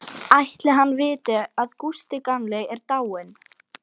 Ætli hann viti að Gústi gamli er dáinn?